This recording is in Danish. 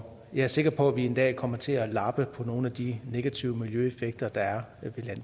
jeg er sikker på at vi en dag kommer til at lappe på nogle af de negative miljøeffekter der er